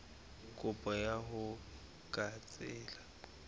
kopo ya hao ka tsela